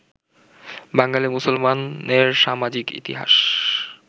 বাঙালি মুসলমানের সামাজিক ইতিহাস